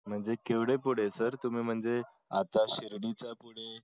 म्हणजे केवड पुढे सर तुंम्ही म्हणजे शिर्डीचा पुढे